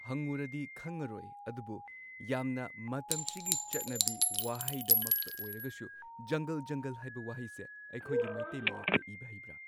ꯍꯪꯉꯨꯔꯗꯤ ꯈꯪꯉꯔꯣꯏ ꯑꯗꯨꯕꯨ ꯌꯥꯝꯅ ꯃꯇꯝꯁꯤꯒꯤ ꯆꯠꯅꯕꯤ ꯋꯥꯍꯩꯗꯃꯛꯇ ꯑꯣꯏꯔꯒꯁꯨ ꯖꯪꯒꯜ ꯖꯪꯒꯜ ꯍꯥꯏꯕ ꯋꯥꯍꯩꯁꯦ ꯑꯩꯈꯣꯏꯒꯤ ꯃꯩꯇꯩ ꯃꯌꯦꯛꯇ ꯏꯕ ꯍꯩꯕ꯭ꯔꯥ꯫